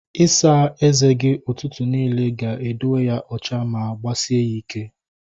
Isa eze gi ụtụtụ niile ga edowe ya ocha ma gbasie ya ịkẹ́